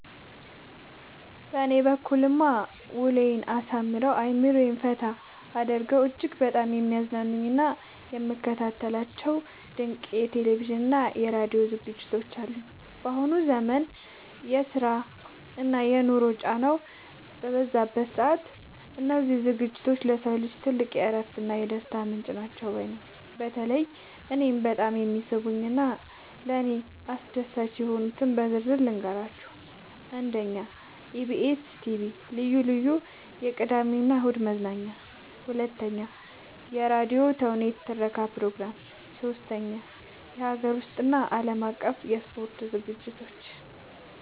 በእኔ በኩልማ ውሎዬን አሳምረው፣ አእምሮዬን ፈታ አድርገው እጅግ በጣም የሚያዝናኑኝና የምከታተላቸው ድንቅ የቴሌቪዥንና የራዲዮ ዝግጅቶች አሉኝ! ባሁኑ ዘመን የስራና የኑሮ ጫናው በበዛበት ሰዓት፣ እነዚህ ዝግጅቶች ለሰው ልጅ ትልቅ የእረፍትና የደስታ ምንጭ ናቸው ባይ ነኝ። በተለይ እኔን በጣም የሚስቡኝንና ለእኔ አስደሳች የሆኑትን በዝርዝር ልንገራችሁ፦ 1. የኢቢኤስ (EBS TV) ልዩ ልዩ የቅዳሜና እሁድ መዝናኛዎች 2. የራዲዮ ተውኔቶችና የትረካ ፕሮግራሞች 3. የሀገር ውስጥና የዓለም አቀፍ የስፖርት ዝግጅቶች